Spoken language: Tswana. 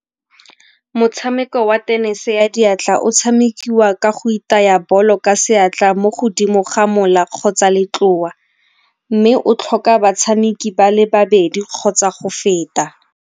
Motshameko wa tenese ya diatla o tshamekiwa ka go itaya bolo ka seatla mo godimo ga mola kgotsa letlowa mme o tlhoka batshameki ba le babedi kgotsa go feta.